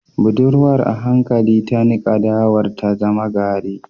Budurwar a hankali ta nika dawar ta zama gari